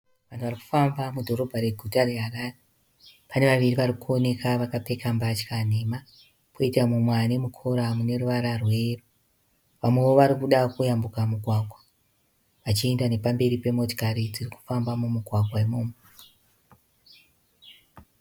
Vanhu vari kufamba mudhorobha reguta reHarare. Pane vaviri vari kuoneka vakapfeka mbatya nhema. Kwoita mumwe ane mukora mune ruvara rweyero. Vamwewo varikuda kuyambuka mugwagwa vachienda nepamberi pemotokari dziri kufamba mumugwagwa imomo.